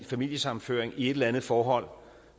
familiesammenføring i et eller andet forhold